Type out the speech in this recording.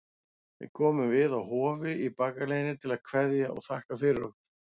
Við komum við á Hofi í bakaleiðinni til að kveðja og þakka fyrir okkur.